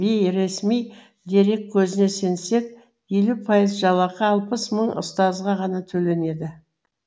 бейресми дерек көзіне сенсек елу пайыз жалақы алпыс мың ұстазға ғана төленеді